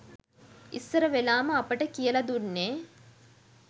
ඉස්සර වෙලාම අපට කියල දුන්නේ